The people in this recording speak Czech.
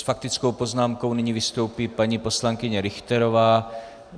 S faktickou poznámkou nyní vystoupí paní poslankyně Richterová.